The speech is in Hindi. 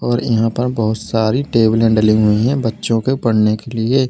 और यहां पर बहोत सारी टेबलें डली हुई है बच्चों के पढ़ने के लिए--